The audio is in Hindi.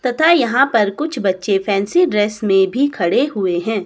तथा यहां पर कुछ बच्चे फैंसी ड्रेस में भी खड़े हुए हैं।